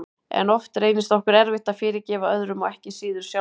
En oft reynist okkur erfitt að fyrirgefa öðrum og ekki síður sjálfum okkur.